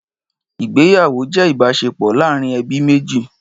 Ìgbéyàwó jẹ́ ìbáṣepọ̀ láàárín ẹbí méjì